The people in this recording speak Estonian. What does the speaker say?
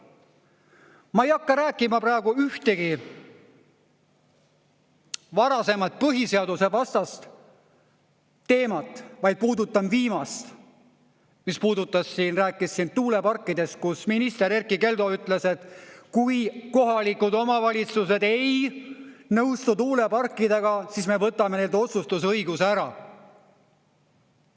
Ma ei hakka rääkima praegu ühtegi varasemat põhiseadusvastast teemat, vaid puudutan viimast, mis puudutas siin, rääkis siin tuuleparkidest, kus minister Erkki Keldo ütles, et kui kohalikud omavalitsused ei nõustu tuuleparkidega, siis me võtame nende otsustusõiguse ära.